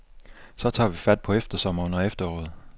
Så tager vi fat på eftersommeren og efteråret.